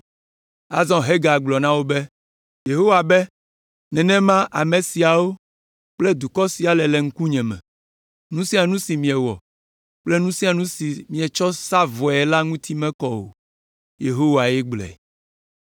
Azɔ Hagai gblɔ na wo be, “Yehowa be nenema ame siawo kple dukɔ sia le le nye ŋkume. Nu sia nu si miewɔ kple nu sia nu si mietsɔ sa vɔe la ŋuti mekɔ o.” Yehowae gblɔe.